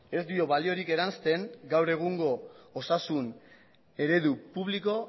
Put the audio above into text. ez dio baliorik eransten gaur egungo osasun eredu publiko